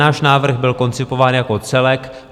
Náš návrh byl koncipován jako celek.